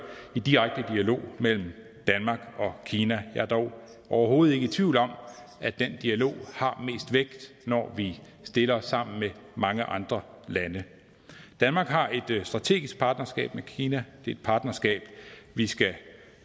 i direkte dialog mellem danmark og kina jeg er dog overhovedet ikke i tvivl om at den dialog har mest vægt når vi stiller os sammen med mange andre lande danmark har et strategisk partnerskab med kina det er et partnerskab vi skal